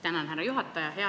Tänan, härra juhataja!